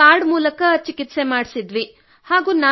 ಬಳಿಕ ಕಾರ್ಡ್ ಮೂಲಕ ಚಿಕಿತ್ಸೆ ಮಾಡಿಸಿದೆವು